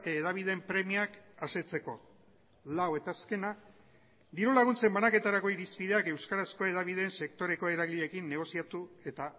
hedabideen premiak asetzeko lau eta azkena diru laguntzen banaketarako irizpideak euskarazko hedabideen sektoreko eragileekin negoziatu eta